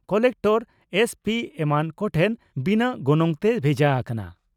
Collector SP ᱮᱢᱟᱱ ᱠᱚᱴᱷᱮᱱ ᱵᱤᱱᱟᱜ ᱜᱚᱱᱚᱝᱛᱮ ᱵᱷᱮᱡᱟᱜ ᱠᱟᱱᱟ ᱾